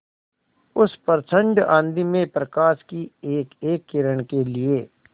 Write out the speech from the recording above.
उस प्रचंड आँधी में प्रकाश की एकएक किरण के लिए